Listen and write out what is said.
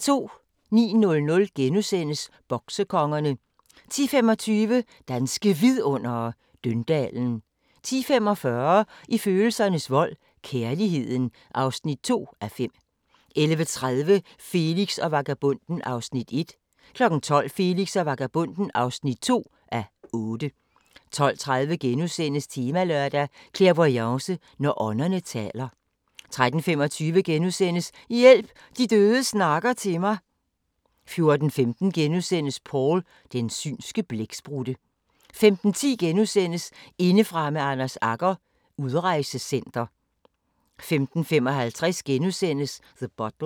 09:00: Boksekongerne * 10:25: Danske Vidundere: Døndalen 10:45: I følelsernes vold – kærligheden (2:5) 11:30: Felix og vagabonden (1:8) 12:00: Felix og vagabonden (2:8) 12:30: Temalørdag: Clairvoyance – når ånderne taler * 13:25: Hjælp – de døde snakker til mig * 14:15: Paul – den synske blæksprutte * 15:10: Indefra med Anders Agger – Udrejsecenter * 15:55: The Butler *